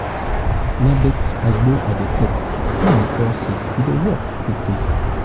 na beta agbo i dey take wen i fall sick. e dey work quick quick.